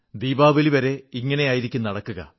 ദീപാവലി വരെ ഇങ്ങനെയായിരിക്കും നടക്കുക